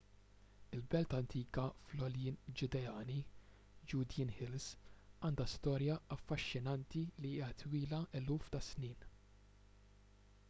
il-belt antika fl-għoljien ġudeani judean hills” għandha storja affaxxinanti li hija twila eluf ta’ snin